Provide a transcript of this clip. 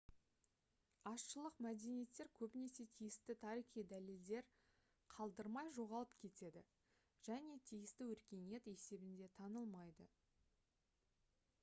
азшылық мәдениеттер көбінесе тиісті тарихи дәлелдер қалдырмай жоғалып кетеді және тиісті өркениет есебінде танылмайды